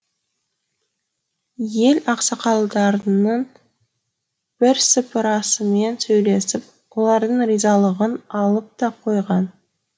ел ақсақалдарының бірсыпырасымен сөйлесіп олардың ризалығын алып та қойған